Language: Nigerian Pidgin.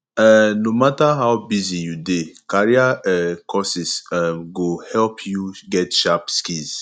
um no matter how busy you dey career um courses um go help you get sharp skills